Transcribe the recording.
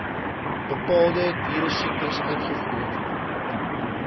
bepaalde dieresiektes uitvoer